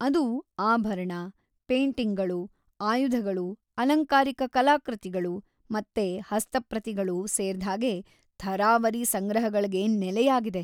ಅದು ಆಭರಣ, ಪೇಟಿಂಗ್ಗಳು, ಆಯುಧಗಳು, ಅಲಂಕಾರಿಕ ಕಲಾಕೃತಿಗಳು ಮತ್ತೆ ಹಸ್ತಪ್ರತಿಗಳು ಸೇರ್ದ್ಹಾಗೆ ಥರಾವರಿ ಸಂಗ್ರಹಗಳ್ಗೆ ನೆಲೆಯಾಗಿದೆ.